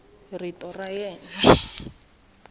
rito ra yena a ri